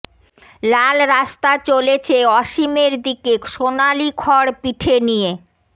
লাল রাস্তা চলেছে অসীমের দিকে সোনালি খড় পিঠে নিয়ে